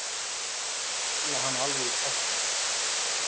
Ég fíla hann alveg í tætlur!